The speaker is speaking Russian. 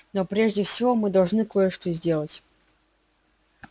но прежде всего мы должны кое-что сделать